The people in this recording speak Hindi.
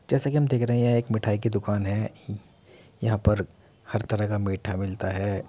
जैसा कि हम देख रहे हैं यह एक मिठाई की दुकान है। यहां पर हर तरह का मीठा मिलता है।